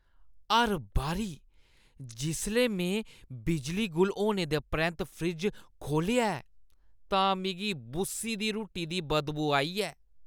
हर बारी जिसलै में बिजली गुल होने दे परैंत्त फ्रिज खोह्‌लेआ ऐ, तां मिगी बुस्सी दी रुट्टी दी बदबू आई ऐ।